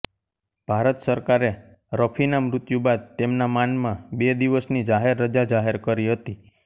ભારત સરકારે રફીના મૃત્યુ બાદ તેમના માનમાં બે દિવસની જાહેર રજા જાહેર કરી હતી